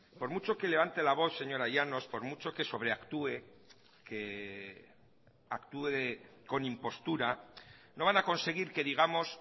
por mucho que levante la voz señora llanos por mucho que sobreactúe que actúe con impostura no van a conseguir que digamos